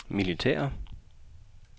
militære